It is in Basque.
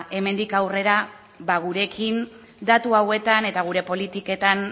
hemendik aurrera gurekin datu hauetan eta gure politiketan